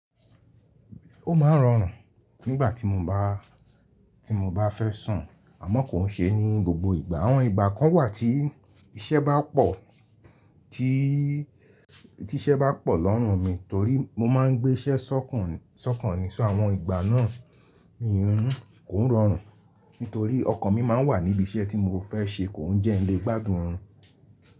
Ó maa ń rọrùn nígbà tí mo bá, tí mo bá fẹ́ sùn. Àmọ́ kò n sé ní gbogbo ìgbà. Àwọn ìgbà kan wà tí iṣẹ́ bá pọ̀, tí iṣẹ́ bá pọ̀ lọ́rùn mi torí mo maá ń gbé iṣẹ́ ṣọ̀kan nìkan. So, àwọn ìgbà náà mi ò n, ko n rọrùn nitorí ọkan mi máa ń wà níbi iṣẹ́ tí mo fẹ́ ṣe kó ń jẹ́ ẹni tó le gbádùn oorún.